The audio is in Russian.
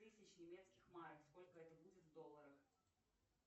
тысяч немецких марок сколько это будет в долларах